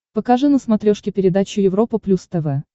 покажи на смотрешке передачу европа плюс тв